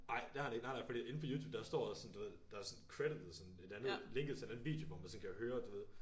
Ej det har han ikke nej nej fordi inde på Youtube der står også sådan du ved der sådan creditet sådan et andet linket til en anden video hvor man sådan kan høre du ved